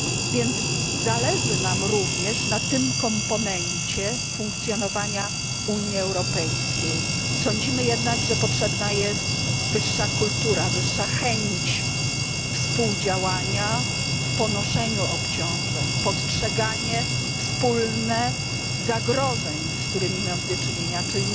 Więc zależy nam również na tym komponencie funkcjonowania Unii Europejskiej, sądzimy jednak, że potrzebna jest wyższa kultura, wyższa chęć współdziałania w ponoszeniu obciążeń, wspólne postrzeganie zagrożeń, z którymi mamy do czynienia czy